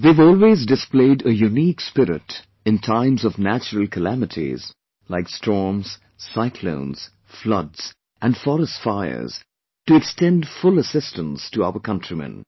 They have always displayed a unique spirit in times of natural calamities like storms, cyclones, floods and forest fires to extend full assistance to our countrymen